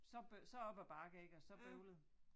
Så så op ad bakke ik og så bøvlet